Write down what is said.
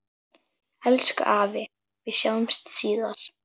Elsku afi, við sjáumst síðar.